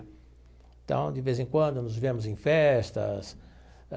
Então, de vez em quando, nos vemos em festas.